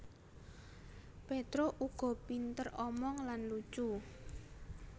Petruk uga pinter omong lan lucu